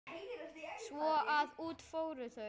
Svo að út fóru þau.